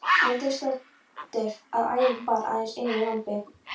Andrésdóttur, að ærin bar aðeins einu lambi.